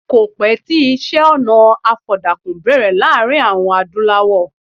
Kò pẹ́ tí iṣẹ́-ọnà àfọ̀dàkùn bẹ̀rẹ̀ láàrin àwọn Adúlawọ̀.